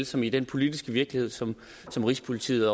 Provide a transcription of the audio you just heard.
som i den politiske virkelighed som som rigspolitiet